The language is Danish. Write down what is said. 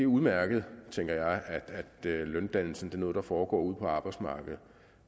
udmærket tænker jeg at løndannelsen er noget der foregår ude på arbejdsmarkedet